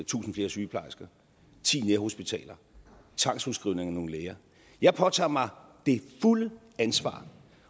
tusind flere sygeplejersker ti nærhospitaler og tvangsudskrivning af nogle læger jeg påtager mig det fulde ansvar